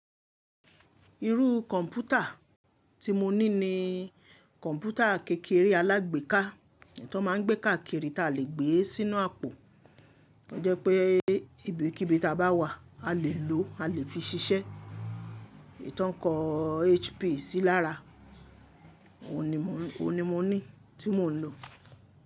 Irú kọ̀ǹpútà tí mo ní ni kọ̀ǹpútà kékeré alágbèéká, tó máa ń gbé káàkiri táa le gbé e sínú àpò. Ó jẹ́ pé ibikíbi táa bá wà, a lè lòó, a lè fi ṣiṣẹ́. Tò ń kọ HP sí lára, ohun ni mo ní tí mò ń lò.